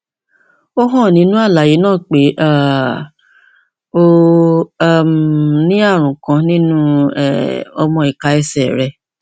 ó hàn nínú àlàyé náà pé um o um ní ààrùn kan nínú um ọmọ ìka ẹsẹ ẹsẹ rẹ